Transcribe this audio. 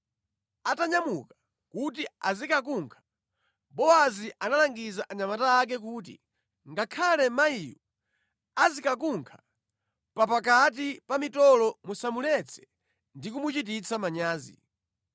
Atanyamuka kuti azikakunkha, Bowazi analangiza anyamata ake kuti, “Ngakhale mayiyu azikunkha pakati pa mitolo musamuletse ndi kumuchititsa manyazi.